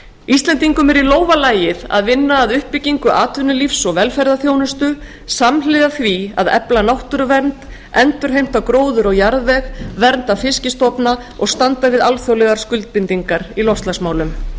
íslendingum er í lófa lagið að vinna að uppbyggingu atvinnulífs og velferðarþjónustu samhliða því að efla náttúruvernd endurheimta gróður og jarðveg vernda fiskstofna og standa við alþjóðlegar skuldbindingar í loftslagsmálum